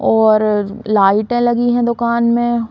और लाइटे लगी हैं दुकान में।